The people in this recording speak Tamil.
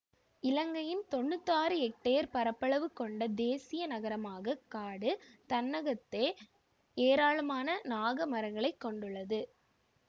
இலங்கையின் தொன்னூத் ஆறு எக்டேயர் பரப்பளவு கொண்ட தேசிய நாகமரக் காடு தன்னகத்தே ஏராளமான நாகமரங்களைக் கொண்டுள்ளது